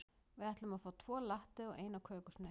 Við ætlum að fá tvo latte og eina kökusneið.